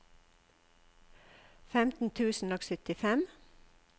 femten tusen og syttifem